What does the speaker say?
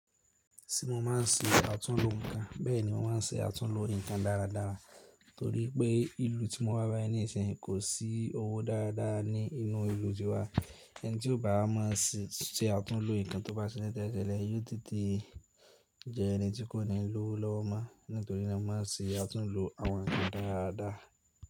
Sí mo ma ń ṣe àtúnlo nǹkan, bẹ́ẹ̀ ni mo máa ń ṣe àtúnlo nǹkan dáradára torí pé ìlú tí mo wá báyìí níìsín kò sí owó dáradára ní inú ìlú tiwa, ẹni tí ó bá máa ṣẹ àtúnlo nǹkan tó bá ṣe tẹ́tẹ́lẹ̀, èyí tún tí jẹ́ ẹni tí kò ní lọ́wọ́ máa, nítorí náà mo ma ń ṣe àtúnlo àwọn ǹkan dáradára.